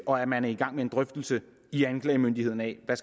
og at man er i gang med en drøftelse i anklagemyndigheden af hvad